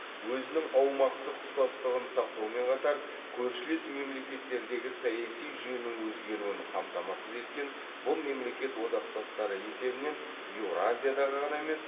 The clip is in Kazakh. өзінің аумақтық тұтастығын сақтаумен қатар көршілес мемлекеттердегі саяси жүйенің өзгеруін қамтамасыз еткен бұл мемлекет одақтастары есебінен еуразиядағы ғана емес